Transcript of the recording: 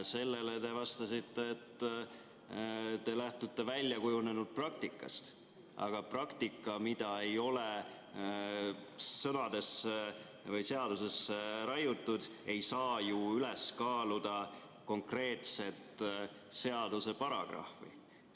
Sellele te vastasite, et te lähtute väljakujunenud praktikast, aga praktika, mida ei ole sõnadesse või seadusesse raiutud, ei saa ju üles kaaluda konkreetset seaduseparagrahvi.